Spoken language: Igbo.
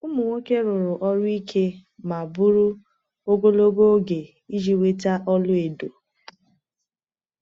Ụmụ nwoke rụrụ ọrụ ike ma bụrụ ogologo oge iji nweta ọlaedo.